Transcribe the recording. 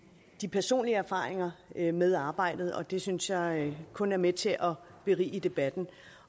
de personlige erfaringer med med arbejdet og det synes jeg kun er med til at berige debatten